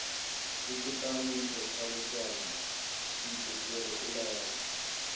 ikutani wephaliswano leentsikiri ulele